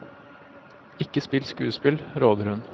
Ikke spill skuespill, råder hun.